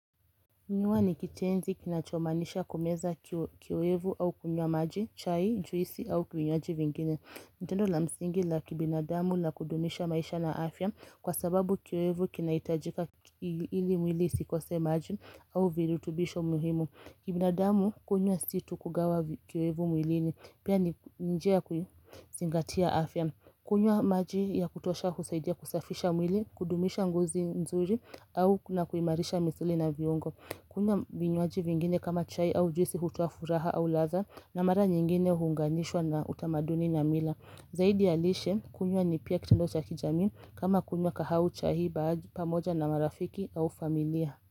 Kunywa ni kitenzi kinachomaanisha kumeza kiwevu au kunywa maji, chai, juisi au vinywaji vingine. Ni tendo la msingi la kibinadamu na kudumisha maisha na afya kwa sababu kiwevu kinahitajika ili mwili usikose maji au virutubisho muhimu. Kibinadamu kunywa situ kugawa kiwevu mwilini pia ni njia kuzingatia afya. Kunywa maji ya kutosha kusaidia kusafisha mwili, kudumisha ngozi nzuri au na kuimarisha misuli na viungo. Kunywa vinywaji vingine kama chai au juisi hotoafuraha au ladha na mara nyingine uhunganishwa na utamaduni na mila. Zaidi ya lishe kunywa ni pia kitendo cha kijamii kama kunywa kahawa au chai baadhi pamoja na marafiki au familia.